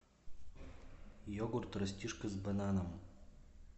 йогурт растишка с бананом